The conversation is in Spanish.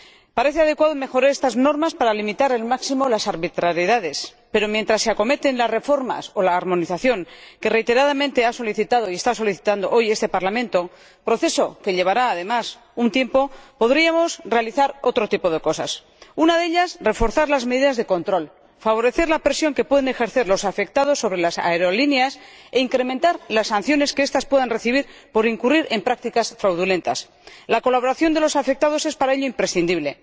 Parece adecuado mejorar estas normas para limitar al máximo las arbitrariedades, pero, mientras se acometen las reformas o la armonización, que reiteradamente ha solicitado y está solicitando hoy este Parlamento proceso que llevará, además, un tiempo podríamos realizar otro tipo de cosas una de ellas, reforzar las medidas de control, favorecer la presión que pueden ejercer los afectados sobre las aerolíneas e incrementar las sanciones que estas puedan recibir por incurrir en prácticas fraudulentas. La colaboración de los afectados es para ello imprescindible.